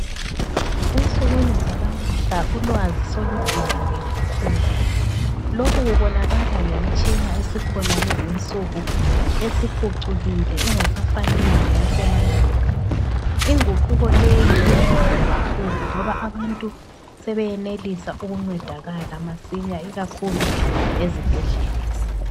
Ensukwini zalamuhla ulwazi solujulile kakhulu. Lokhukubonakala ngemitshina esikhona lezinsuku esiphucukile, engasafaniyo leyasemandulo. Inguquko leyi iyanceda kakhulu ngoba abantu, sebeyenelisa ukuncedakala masinya ikakhulu ezibhedlela.